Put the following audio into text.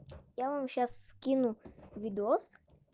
я вам сейчас скину видос